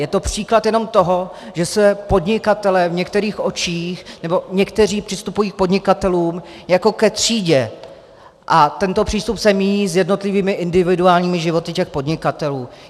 Je to příklad jenom toho, že se podnikatelé v některých očích - nebo někteří přistupují k podnikatelům jako ke třídě a tento přístup se míjí s jednotlivými individuálními životy těch podnikatelů.